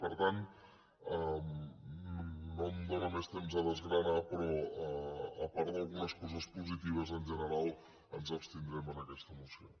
per tant no em dóna més temps per desgranar però a part d’algunes coses positives en general ens abstindrem en aquesta moció